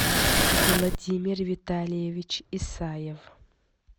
владимир витальевич исаев